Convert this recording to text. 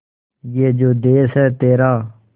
ये जो देस है तेरा